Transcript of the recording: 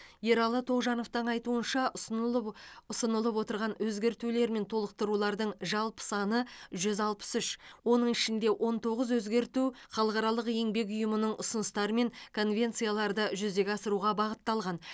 ералы тоғжановтың айтуынша ұсынылып от ұсынылып отырған өзгертулер мен толықтырулардың жалпы саны жүз алпыс үш оның ішінде он тоғыз өзгерту халықаралық еңбек ұйымының ұсыныстары мен конвенцияларды жүзеге асыруға бағытталған